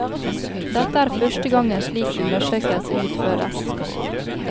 Dette er første gang en slik undersøkelse utføres.